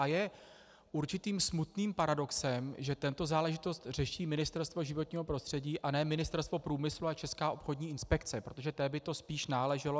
A je určitým smutným paradoxem, že tuto záležitost řeší Ministerstvo životního prostředí a ne Ministerstvo průmyslu a Česká obchodní inspekce, protože té by to spíš náleželo.